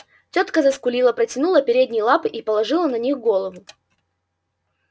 тётка заскулила протянула передние лапы и положила на них голову